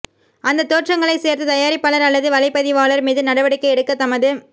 அந்தத் தோற்றங்களை சேர்த்த தயாரிப்பாளர் அல்லது வலைப்பதிவாளர் மீது நடவடிக்கை எடுக்க தமது